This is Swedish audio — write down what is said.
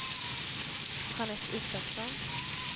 Jeanette Isaksson